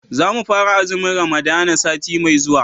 za mu fara azumin ramadana sati mai zuwa